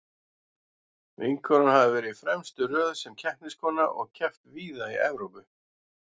Vinkonan hafði verið í fremstu röð sem keppniskona og keppt víða í Evrópu.